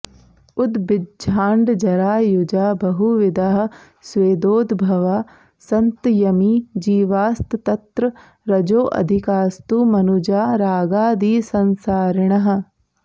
उद्भिज्जाण्डजरायुजा बहुविधाः स्वेदोद्भवा सन्त्यमी जीवास्तत्र रजोऽधिकास्तु मनुजा रागादिसंसारिणः